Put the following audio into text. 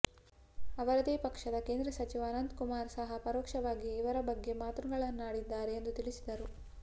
ಅವರದೆ ಪಕ್ಷದ ಕೇಂದ್ರ ಸಚಿವ ಅನಂತಕುಮಾರ್ ಸಹ ಪರೋಕ್ಷವಾಗಿ ಇವರ ಬಗ್ಗೆ ಮಾತುಗಳನ್ನಾಡಿದ್ದಾರೆ ಎಂದು ತಿಳಿಸಿದರು